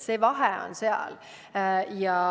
Vahe ongi selles.